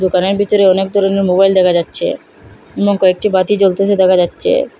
দোকানের ভিতরে অনেক ধরনের মোবাইল দেখা যাচ্ছে এবং কয়েকটি বাতি জ্বলতেসে দেখা যাচ্চে ।